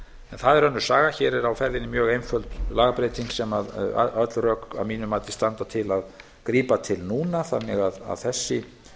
það er önnur saga hér er á ferðinni mjög einföld lagabreyting sem öll rök að mínu mati standa til að grípa til núna þannig að þessi